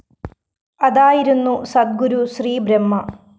അതായിരുന്നു സദ്ഗുരു ശ്രീ ബ്രഹ്മ